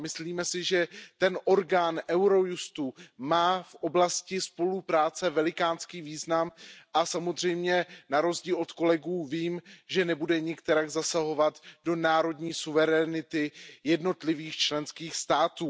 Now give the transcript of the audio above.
Myslím si, že agentura Eurojust má v oblasti spolupráce velikánský význam a samozřejmě na rozdíl od kolegů vím, že nebude nikterak zasahovat do národní suverenity jednotlivých členských států.